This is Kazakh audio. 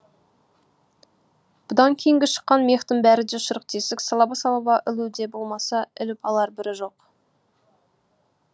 бұдан кейінгі шыққан мехтың бәрі де шұрық тесік салаба салаба ілуде болмаса іліп алар бірі жоқ